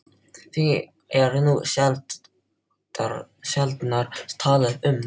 Því er nú sjaldnar talað um